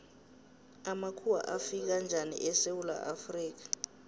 amakhuwa afika njani esewula afrika